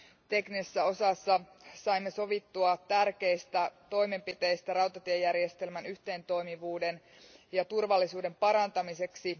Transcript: Teknisessä osassa saimme sovittua tärkeistä toimenpiteistä rautatiejärjestelmän yhteentoimivuuden ja turvallisuuden parantamiseksi.